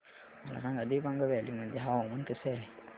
मला सांगा दिबांग व्हॅली मध्ये हवामान कसे आहे